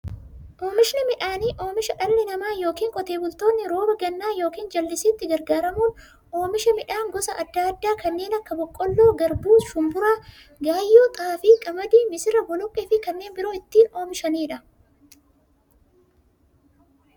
Oomishni midhaanii, oomisha dhalli namaa yookiin Qotee bultoonni roba gannaa yookiin jallisiitti gargaaramuun oomisha midhaan gosa adda addaa kanneen akka; boqqoolloo, garbuu, shumburaa, gaayyoo, xaafii, qamadii, misira, boloqqeefi kanneen biroo itti oomishamiidha.